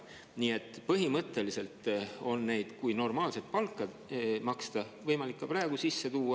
Nii et põhimõtteliselt, kui normaalset palka maksta, on neid võimalik ka praegu sisse tuua.